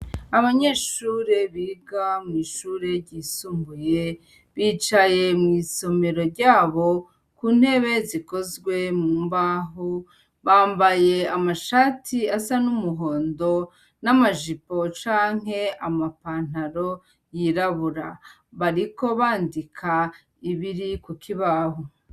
Abanyeshure biga mw'ishure ryisumbuye bicaye mw'isomero ryabo ku ntebe zikozwe mu mbaho. Bambaye amashati asa n'umuhondo, n'amajipo canke amapentalon yirabura. Bariko bandika ibiri ku kibaho.